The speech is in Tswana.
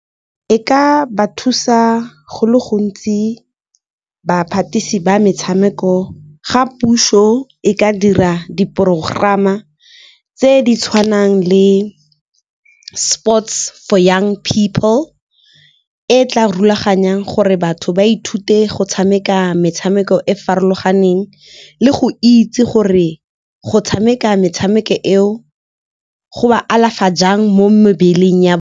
E ka ba thusa go le gontsi ba metshameko, ga puso e ka dira di porogerama tse di tshwanang le sports for young people, e tla rulaganyang gore batho ba ithute go tshameka metshameko e farologaneng le go itse gore go tshameka metshameko eo go ba alafa jang mo mebeleng ya .